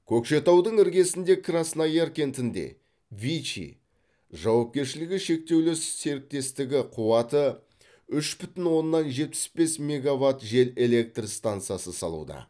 көкшетаудың іргесіндегі краснояр кентінде вичи жауапкершілігі шектеулі серіктестігі қуаты үш бүтін оннан жетпіс бес меговатт жел электр станасы салуда